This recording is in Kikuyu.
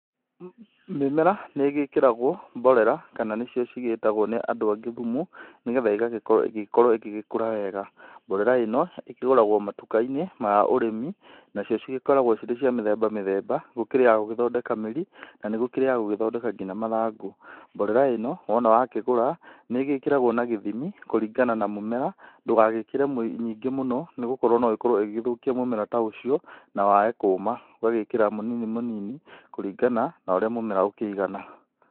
Mĩmera, nĩ ĩgĩkĩragwo mborera kana nĩcio cigĩtagwo nĩ andũ angĩ thumu nĩ getha ĩgagĩkorwo ĩgĩkorwo ĩgĩgĩkũra wega. Mborera ĩno ĩkĩgũragwo matuka-inĩ ma ũrĩmi, nacio cigĩkoragwo cirĩ cia mĩthemba mĩthemba. Gũkĩrĩ ya gũgĩthondeka mĩri, na nĩ gũkĩrĩ ya gũthondeka nginya mathangũ. Mborera ĩno wona wakĩgũra, nĩ ĩgĩkĩragwo na gĩthimi kũringana na mũmera, ndũgagĩkĩre nyingĩ mũno nĩ gũkorwo no ĩkorwo ĩgĩgĩthũkia mũmera ta ũcio na wae kũma. Ũgagĩkĩra mũnini mũnini kũringana na ũrĩa mũmera ũkĩigana.